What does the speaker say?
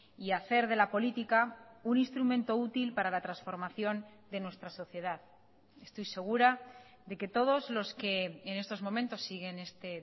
y hacer de la política un instrumento útil para la transformación de nuestra sociedad estoy segura de que todos los que en estos momentos siguen este